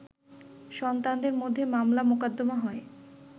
সন্তানদের মধ্যে মামলা-মোকদ্দমা হয়